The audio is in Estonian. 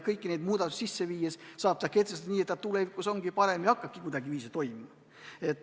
Kõiki neid muudatusi sisse viies saab teha nii, et tulevikus seadus on parem ja hakkab kuidagiviisi ka toimima.